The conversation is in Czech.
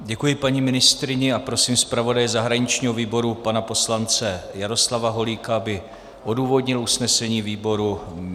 Děkuji paní ministryni a prosím zpravodaje zahraničního výboru pana poslance Jaroslava Holíka, aby odůvodnil usnesení výboru.